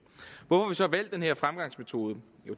hvorfor så valgt den her fremgangsmetode